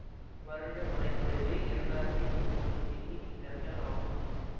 வருட மழைப்பொழிவு இரண்டாயிரத்தி முன்னூறு மில்லிமீட்டர்கள் ஆகும்